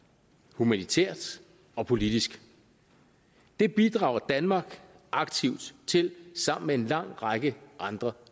humanitært og politisk det bidrager danmark aktivt til sammen med en lang række andre